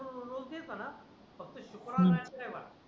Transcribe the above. रोज बी चना फक्त शुक्रवार नाही तर रविवार